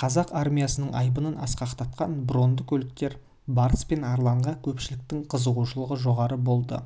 қазақ армиясының айбынын асқақтатқан бронды көліктер барыс пен арланға көпшіліктің қызығушылығы жоғары болды